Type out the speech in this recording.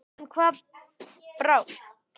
En hvað brást?